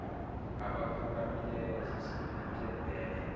abaphakamileyo zisiphethe bhele